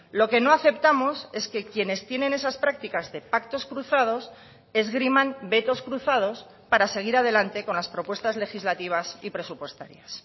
lo que no aceptamos es que quienes tienen esas prácticas de pactos cruzados esgriman vetos cruzados para seguir adelante con las propuestas legislativas y presupuestarias